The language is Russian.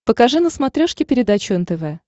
покажи на смотрешке передачу нтв